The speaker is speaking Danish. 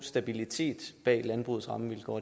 sige at